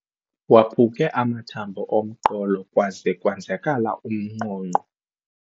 Waphuke amathambo omqolo kwaze kwenzakala umnqonqo.